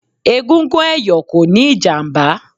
Egungun ẹ̀yọ̀ kò níí ìjàmbá